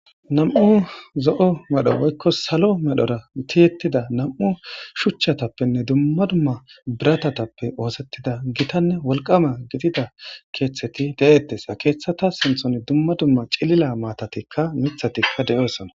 Nam'u zo'o medho woykko salo medho shuuchchatappenne dumma dumma biratatappe ooththettida giittanne wolqqama gidida keththetti de'ettes ha keththata sinththan dumma dumma ciillila maatatikka miiththattikka de'ossonna